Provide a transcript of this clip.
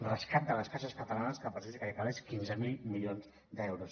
rescat de les caixes catalanes que per a això sí que hi ha calés quinze mil milions d’euros